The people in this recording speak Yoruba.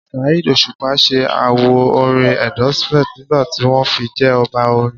Saheed Osupa ṣẹ àwo orin Endorsement nígbà tí wọ́n fi jẹ Ọba orin